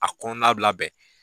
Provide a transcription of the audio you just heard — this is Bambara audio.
A kɔnɔna bi labɛn.